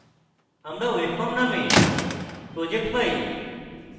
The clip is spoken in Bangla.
আমরা webform named project পাই